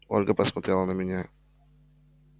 ольга посмотрела на меня